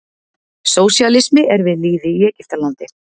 Sósíalismi er við lýði í Egyptalandi.